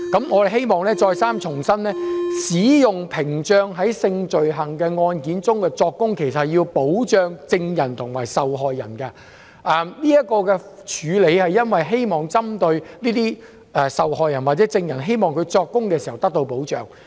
我們希望重申，在性罪行案件中作供時使用屏障是要保障證人及受害人，這種安排為受害人或證人作供時提供保障。